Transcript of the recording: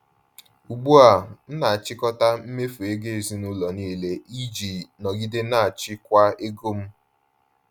Ugbu a, m na-achịkọta mmefu ego ezinụlọ niile iji nọgide na-achịkwa ego m.